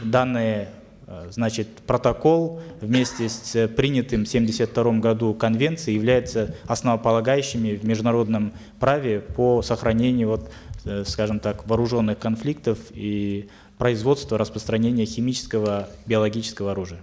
данный э значит протокол вместе с э принятой в семьдесят втором году конвенцией являются основополагающими в международном праве по сохранению вот э скажем так вооруженых конфликтов и производства распространения химического биологического оружия